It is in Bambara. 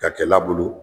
Ka kɛ labulu